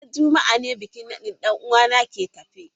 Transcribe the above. Ranar juma'a ne bikin nadin dan uwa na ke tafe.